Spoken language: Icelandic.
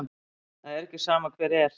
Það er ekki sama hver er.